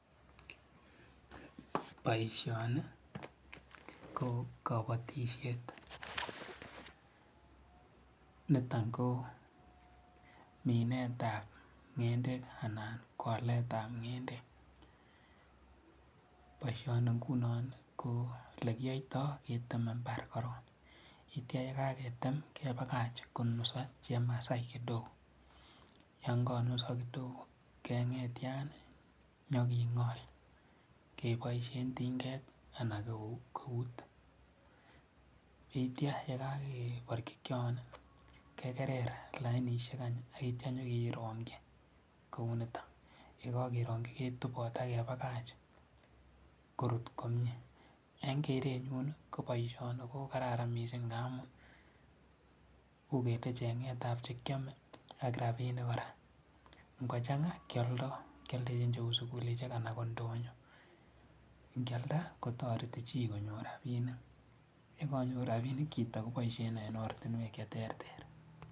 Boisioni ko kabotisiet niton kominetab ng'endek anan ko aletab ng'endek boisioni ngunon olekiyoito keteme mbar korong yeitia kaketem kebakach konuso chemasai kidogo yongonuso kidogo keng'etian inyoking'ol keboisien tinget anan ko eut yeitia yekakeborchikyon kekerer lainisiek any yeitia inyokerongyi kou nito yekokerongyi ketupot akepakach korut komie en kerenyun ko boisioni kokararan mising ngamu uu kele cheng'etab chekyome ak rapinik kora ngochang'a kialdo kialdechin cheu sugulisiek ana ko ndonyo ngialnda kotoreti chi konyor rapinik yekonyor rapinik chito koboisien en ortinwek cheterter.